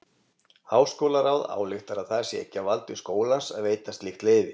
Háskólaráð ályktar að það sé ekki á valdi skólans að veita slíkt leyfi.